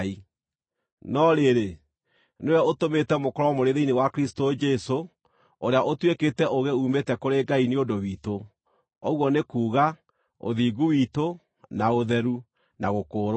No rĩrĩ, nĩwe ũtũmĩte mũkorwo mũrĩ thĩinĩ wa Kristũ Jesũ, ũrĩa ũtuĩkĩte ũũgĩ uumĩte kũrĩ Ngai nĩ ũndũ witũ, ũguo nĩ kuuga, ũthingu witũ, na ũtheru, na gũkũũrwo.